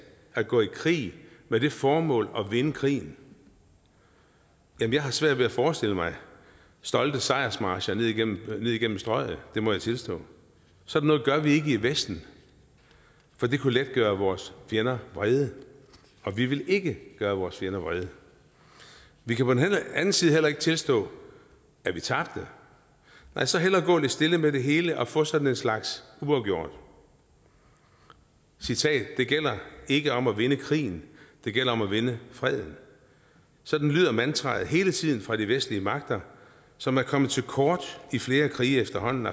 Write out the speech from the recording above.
at gå i krig med det formål at vinde krigen jeg har svært ved at forestille mig stolte sejrsmarcher ned igennem igennem strøget det må jeg tilstå sådan noget gør vi ikke i vesten for det kunne let gøre vores fjender vrede og vi vil ikke gøre vores fjender vrede vi kan på den anden side heller ikke tilstå at vi tabte nej så hellere gå lidt stille med det hele og få sådan en slags uafgjort citat det gælder ikke om at vinde krigen det gælder om at vinde freden sådan lyder mantraet hele tiden fra de vestlige magter som er kommer til kort i flere krige efterhånden